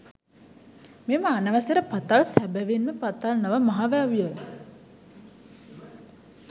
මෙම අනවසර පතල් සැබැවින්ම පතල් නොව මහ වැව්ය.